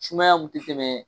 Sumaya kun ti tɛmɛ.